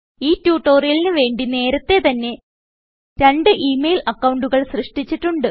ഈ ട്യൂട്ടോറിയലിന് വേണ്ടി നേരത്തെതന്നെ രണ്ട് ഈ മെയിൽ അക്കൌണ്ടുകൾ സൃഷ്ട്ടിച്ചിട്ടുണ്ട്